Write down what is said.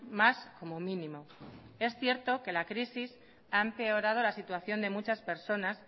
más como mínimo es cierto que la crisis ha empeorado la situación de muchas personas